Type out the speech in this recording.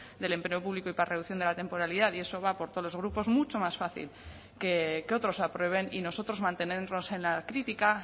del empleo público y para reducción de la temporalidad y eso va por todos los grupos mucho más fácil que otros aprueben y nosotros mantenernos en la crítica